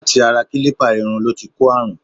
Láti ara kílípà iru ló ti kó àrùn.